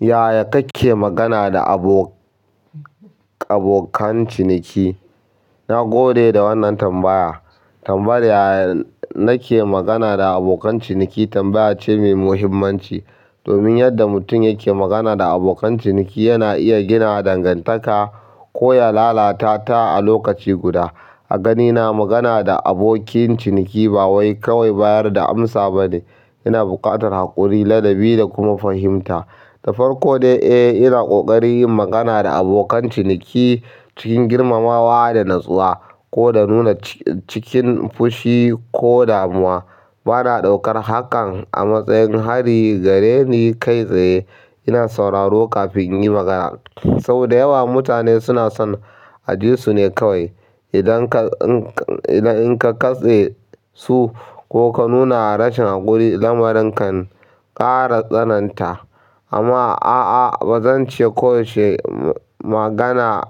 Yaya kake magana da abo-- abokan ciniki? Na gode da wannan tambaya. Tambayar yaya nake magana da abokan ciniki tambaya ce mai muhimmanci. Domin yadda mutum yake magana da abokan ciniki yana iya gina dangantaka ko ya lalata ta a lokaci guda. A ganina magana da abokin ciniki ba wai kawai bayar da amsa ba ne. Yana buƙatar haƙuri, ladabi da kuma fahimta. Da farko dai, eh, ina ƙoƙari yin magana da abokan ciniki cikin girmamawa da natsuwa, ko da nuna cikin fushi ko damuwa. Bana ɗaukar hakan a matsayin hari gare ni kai tsaye. Ina sauraro kafin in yi magana. Sau da yawa mutane suna son ajisu ne kawai. Idan ka, in ka, idan in ka katse su ko ka nuna rashin haƙuri, lamarin kan ƙara tsananta. Amma a'a bazan ce ko yaushe magana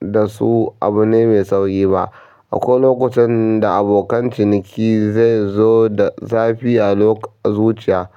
da su abu ne mai tsauri ba. Akwai lokutan da abokan ciniki zai zo da zafi a loko-- zuciya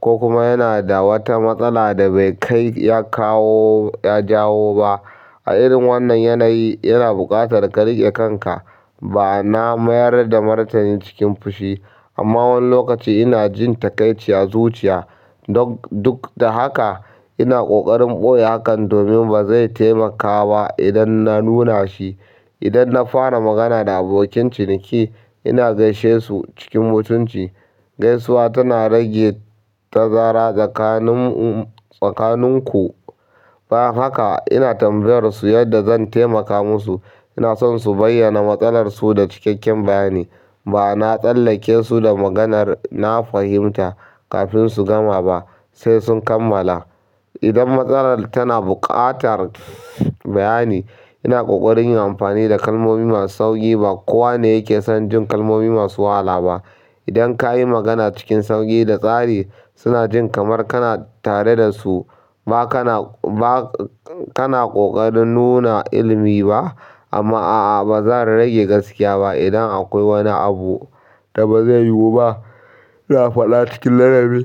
ko kuma yana da wata matsala da bai kai ya kawo, ya jawo ba. A irin wannan yanayi yana buƙatar ka rike kanka. Ma'ana mayar da martani cikin fushi. Amma wani lokaci ina jin takaici a zuciya. Don duk da haka ina ƙoƙarin ɓoye hakan domin ba zai taimaka ba idan na nuna shi. Idan na fara magana da abokin ciniki, ina gaishe su cikin mutunci. Gaisuwa tana rage tazara tsakanin mu, tsakanin ku. Bayan haka, ina tambayar su yadda zan taimaka musa. Ina son su bayyana matsalar su da cikakken bayani. Ba na tsallake su da maganar na fahimta kafin su gama ba, sai sun kammala. Idan matsalar tana buƙatar bayani, ina ƙoƙarin yin amfani da kalmomi masu sauƙi. Ba kowa ne yake son jin kalmomi masu wahala ba. Idan kayi magana cikin sauƙi da tsari, suna jin kamar kana tare da su. Ba kana, ba kana ƙoƙarin nuna ilimi ba. Amma a'a ba zan rage gaskiya ba idan akwai wani abu da ba zai yiwu ba. Ina farɗa cikin ladabi.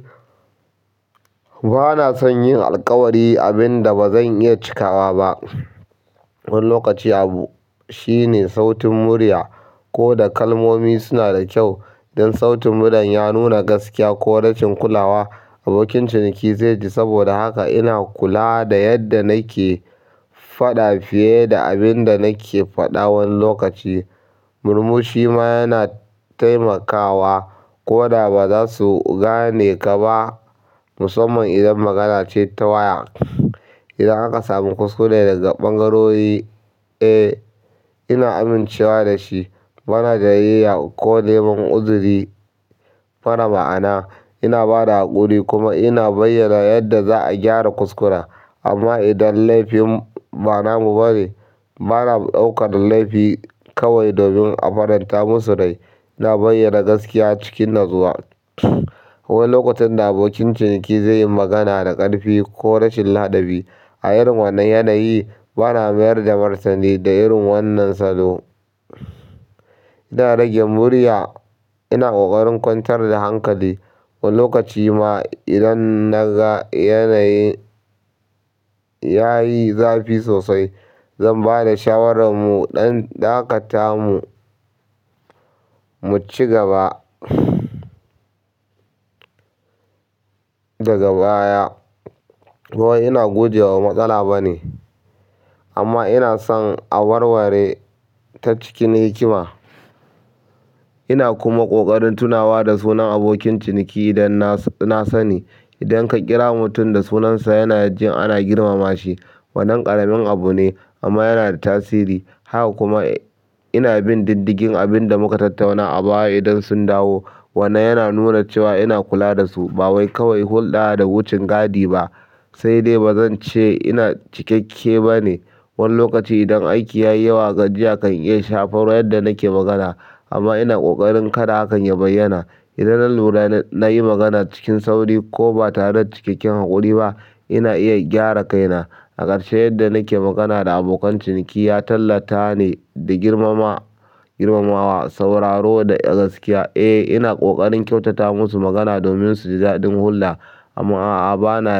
Ba na son yin alkawari abin da ba zan iya cikawa ba. Wani lokaci abu shine sautin murya. Ko da kalmomi suna da kyau dan sautin murya ya nuna gaskiya ko rashin kulawa, abokin ciniki zai ji dis. Saboda haka ina kula da yadda nake faɗa fiye da abin da nake faɗa wani lokaci. Murmushi ma yana taimakawa ko da ba za su gane ka ba, musamman idan magana ce ta waya. Idan aka sami kuskure daga ɓangarori, eh, ina amincewa da shi. Bana gajiya ko neman uzuri mara ma'ana. Ina ba da haƙuri kuma ina bayyana yadda za'a gyara kuskura. Amma idan laifin ba na mu ba ne, bana ɗaukar laifi kawai domin a faranta musu rai. Ina bayyana gaskiya cikin natsuwa. Akwai lokutan da abokin ciniki zai yi magana da ƙarfi ko rashin ladabi. A irin wannan yanayi bana mayar da martani. Da irin wannan salo, ina rage murya. Ina ƙoƙarin kwantar da hankali, wani lokaci ma idan na ga yanayin ya yi zafi sosai, zan ba da shawarar mu ɗan dakata mu mu ci gaba daga baya. Kawai ina guje wa matsala ba ne. Amma ina son a warware ta cikin hikima. Ina kuma ƙoƙarin tunawa da sunan abokin ciniki idan na, na sani. Dan ka ƙira mutum da sunan sa yana jin ana girmama shi. Wannan ƙaramin abu ne amma yana da tasiri. Haka kuma ina bin diddigin abin da muka tattauna a baya idan sun dawo. Wannan yana nuna cewa ina kula da su ba wai kawai hulɗa da wucin gadi ba, sai dai ba zan ce ina cikakke ba ne. Wani lokaci idan aiki ya yi wa gajiya kan iya shafar yadda nake magana. Amma ina ƙoƙarin kada hakan ya bayyana. Idan na lura na yi magana cikin sauri ko ba tare da cikakken haƙuri ba, ina iya gyara kaina. A ƙarshe yadda nake magana da abokan ciniki ya tallata ne da girmama-- girmamawa, sauraro da gaskiya. Eh, ina ƙoƙarin kyautata musu magana domin su ji daɗin hulɗa. Amma a'a ba na--